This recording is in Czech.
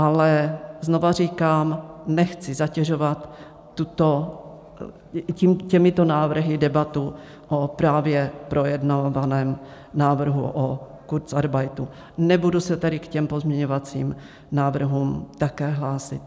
Ale znovu říkám, nechci zatěžovat těmito návrhy debatu o právě projednávaném návrhu o kurzarbeitu, nebudu se tedy k těmto pozměňovacím návrhům také hlásit.